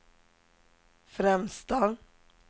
främsta